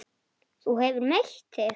Þú hefur meitt þig!